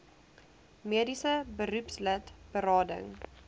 mediese beroepslid berading